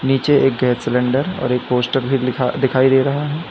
नीचे एक gas cylinder और एक पोस्टर भी लिखा दिखाई दे रहा है।